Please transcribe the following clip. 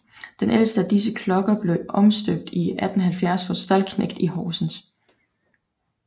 Den ældste af disse klokker blev omstøbt i 1870 hos Stallknecht i Horsens